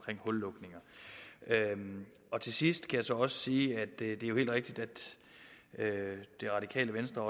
hullukninger til sidst kan jeg så sige at det helt rigtigt at det radikale venstre